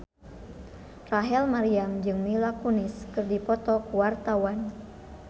Rachel Maryam jeung Mila Kunis keur dipoto ku wartawan